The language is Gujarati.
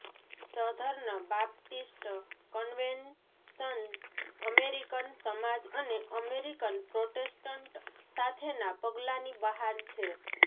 સધર્ન બાપ્ટિસ્ટ કન્વેન્શન અમેરિકન સમાજ અને અમેરિકન પ્રોટેસ્ટન્ટ સાથેના પગલાંની બહાર છે